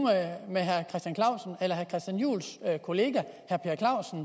med herre christian juhls kollega herre per clausen